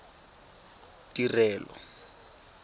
tirelo